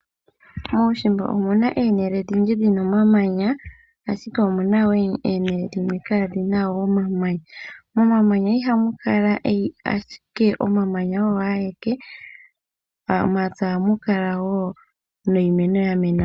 Muushimba omuna omahala ogendji gena omamanya, ashike omuna wo omahala gamwe kaagena omamanya. Momamanya ihamu kala ashike omamanya ogo ageke, ashike ohamu kala wo niimeno yamena mo.